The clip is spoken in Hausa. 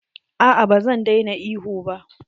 A'a ba zan daina ihu ba.